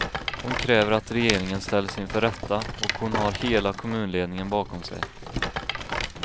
Hon kräver att regeringen ställs inför rätta, och hon har hela kommunledningen bakom sig.